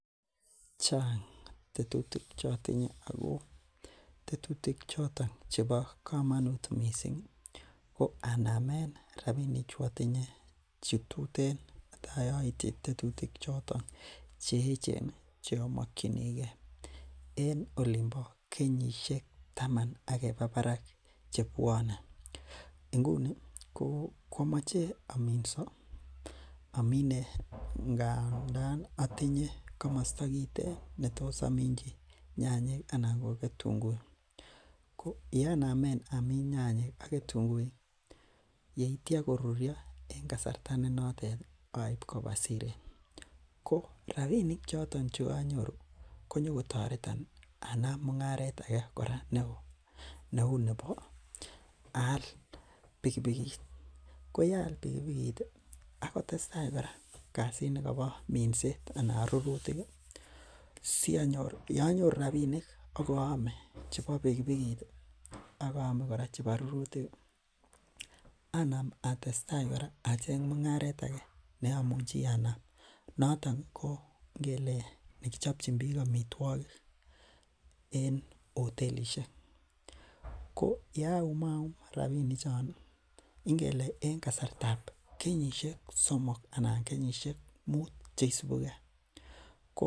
Chang tetutik ago tetutik choton chebo kamanut missing. Koanamen rabinik chu atinye itai aityi tetutik choton cheechen ih cheamakyinege en olonbo kenyisiek taman akeba barak inguni ko komache aminao imbar. Atinye kamasto kiten netos aminchi anan ko ketunguik ko yeanamen Amin nyanyek ak ketunguik ih yeitia korurio en kasarta ne noton ih akaib kab Siret ko rabinik choton cheganyoru konyogo tareton anam mung'aret age neo neuu nebo aal bikibikot. Koyaal bikibikot ih akotesetai kora kasit nikabo minset ih anan rurutik ih siyanyoru rabinik akayame chebo bikibikot ih akayame chebo rurutik ih Anam atestai acheng mung'aret ake neamuchi Anam noton ingele nekichabchinbik amituakik en otelisiek, ko yeaum rabinik chon ih ingele en kasartab kenyisiek somok anan kenyisiek muut cheisubuke.